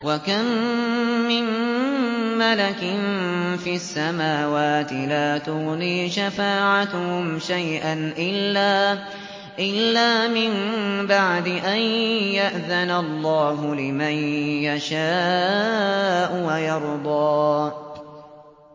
۞ وَكَم مِّن مَّلَكٍ فِي السَّمَاوَاتِ لَا تُغْنِي شَفَاعَتُهُمْ شَيْئًا إِلَّا مِن بَعْدِ أَن يَأْذَنَ اللَّهُ لِمَن يَشَاءُ وَيَرْضَىٰ